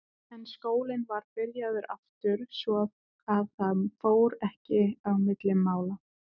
En skólinn var byrjaður aftur svo að það fór ekki á milli mála.